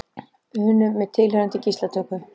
unum með tilheyrandi gíslatöku.